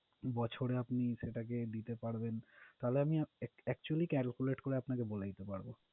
বছরে আপনি সেটাকে দিতে পারবেন, তাহলে আমি actually calculate করে আপনাকে বলে দিতে পারবো